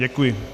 Děkuji.